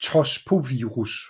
tospovirus